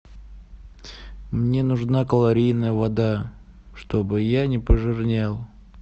мне нужна калорийная вода чтобы я не пожирнел